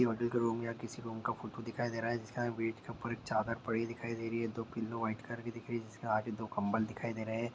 ये होटल का रूम या किसी रूम का फोटो दिखाई दे रहा है जिसके आगे बेड के ऊपर एक चादर पड़ी हुई दिखाई दे रही है दो पिलो व्हाइट कलर के दिख रहे हैं जिसके आगे दो कंबल दिखाई दे रहे हैं।